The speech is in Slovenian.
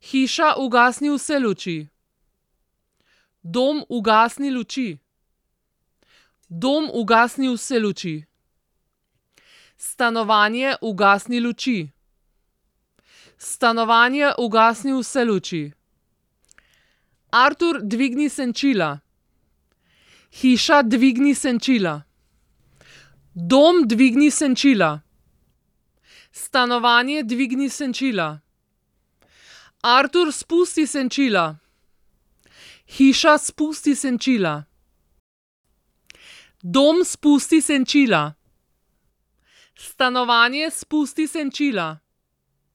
Hiša, ugasni vse luči. Dom, ugasni luči. Dom, ugasni vse luči. Stanovanje, ugasni luči. Stanovanje, ugasni vse luči. Artur, dvigni senčila. Hiša, dvigni senčila. Dom, dvigni senčila. Stanovanje, dvigni senčila. Artur, spusti senčila. Hiša, spusti senčila. Dom, spusti senčila. Stanovanje, spusti senčila.